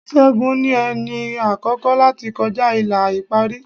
Ṣẹ́gun ni ẹni àkọ́kọ́ láti kọjá ìlà ìparí.